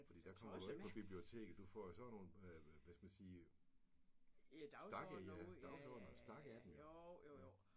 Fordi der kommer du jo ikke på biblioteket. Du får jo sådan nogle øh hvad hvad skal man sige stakke ja dagsordener stakke af dem ja